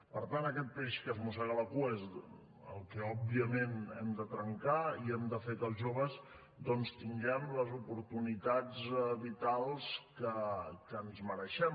per tant aquest peix que es mossega la cua és el que òbviament hem de trencar i hem de fer que els joves tinguem les oportunitats vitals que ens mereixem